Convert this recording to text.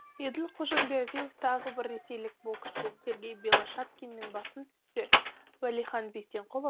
еділ қожамбердиев тағы бір ресейлік боксшы сергей белошапкиннен басым түссе уәлихан бисенқұлов